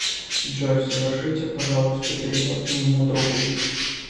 джой совершите пожалуйста перевод моему другу